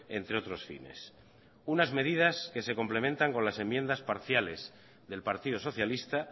entre otros fines unas medidas que se complementan con las enmiendas parciales del partido socialista